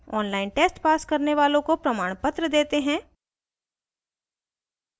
online test pass करने वालों को प्रमाणपत्र देते हैं